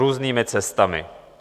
Různými cestami.